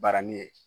Barani ye